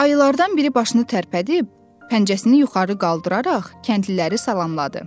Ayılardan biri başını tərpədib, pəncəsini yuxarı qaldıraraq kəndliləri salamladı.